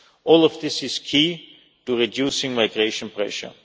All of this is key to reducing migration pressure.